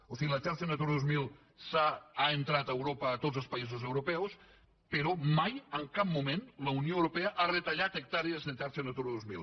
o sigui la xarxa natura dos mil ha entrat a europa a tots els països europeus però mai en cap moment la unió europea ha retallat hectàrees de xarxa natura dos mil